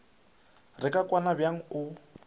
re ka kwana bjang o